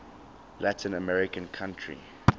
latin american country